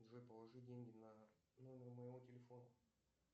джой положи деньги на номер моего телефона